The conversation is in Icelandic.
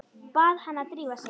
Bað hana að drífa sig.